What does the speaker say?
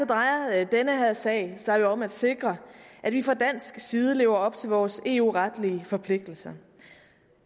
drejer den her sag sig jo om at sikre at vi fra dansk side lever op til vores eu retlige forpligtelser